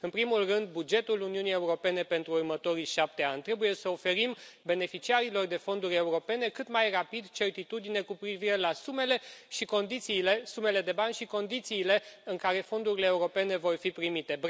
În primul rând, bugetul Uniunii Europene pentru următorii șapte ani trebuie să oferim beneficiarilor de fonduri europene cât mai rapid certitudine cu privire la sumele de bani și condițiile în care fondurile europene vor fi primite.